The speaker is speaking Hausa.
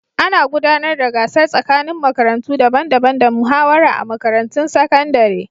Ana gudanar da gasar tsakanin makarantu daban-daban da muhawara a makarantun sakandare.